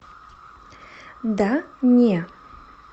да не